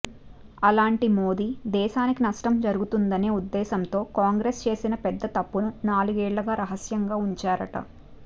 అలాంటి మోడీ దేశానికీ నష్టం జరుగుతుందనే ఉద్దేశంతో కాంగ్రెస్ చేసిన పెద్ద తప్పుని నాలుగేళ్లుగా రహస్యంగా ఉంచారట